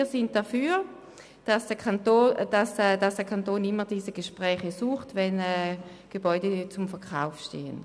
Wir sind dafür, dass der Kanton diese Gespräche immer dann sucht, wenn Gebäude zum Verkauf stehen.